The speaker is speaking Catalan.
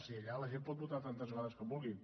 si allà la gent pot votar tantes vegades com vulgui